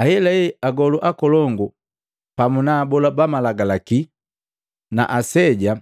Ahelahe agolu akolongu pamu na abola ba Malagalaki na aseja